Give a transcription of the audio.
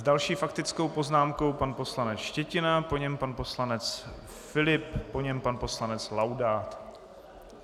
S další faktickou poznámkou pan poslanec Štětina, po něm pan poslanec Filip, po něm pan poslanec Laudát.